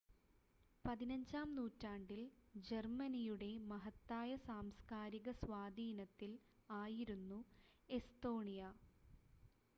15-ാം നൂറ്റാണ്ടിൽ ജർമ്മനിയുടെ മഹത്തായ സാംസ്ക്കാരിക സ്വാധീനത്തിൽ ആയിരുന്നു എസ്തോണിയ